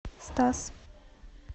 стас